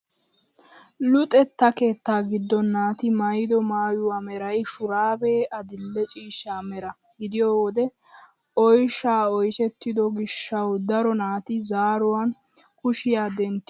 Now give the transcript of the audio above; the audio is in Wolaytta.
Luxetta keettaa giddon naati maayido maayuwaa meray shuraabee adil"e ciishsha mera gidiyo wode oyshshaa oyshettido gishshawu daro naati zaaranawu kushiyaa denttidosona!